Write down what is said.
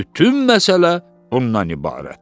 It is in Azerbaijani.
Bütün məsələ bundan ibarətdir.